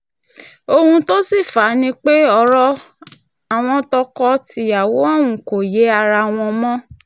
ohun tó sì fà á ni pé ọ̀rọ̀ àwọn tọkọ-tìyàwó ọ̀hún kò yé ara wọn mọ́